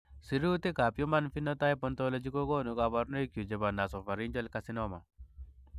Sirutikab Human Phenotype Ontology kokonu koborunoikchu chebo Nasopharyngeal carcinoma.